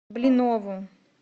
блинову